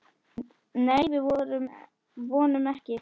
Nei, við vonum ekki.